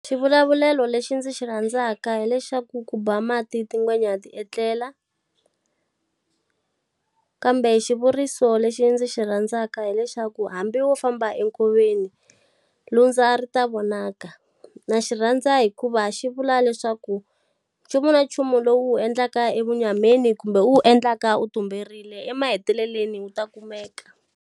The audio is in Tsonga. Xivulavulelo lexi ndzi xi rhandzaka hi lexi xa ku, ku ba mati tingwenya ti etlela. kambe xivuriso lexi ndzi xi rhandzaka hi lexi xa ku, hambi wo famba enkoveni, lundza ri ta vonaka. Na xi rhandza hikuva xi vula leswaku, nchumu na nchumu lowu u wu endlaka evunyameni kumbe u wu endlaka u tumberile, emahetelelweni wu ta kumeka.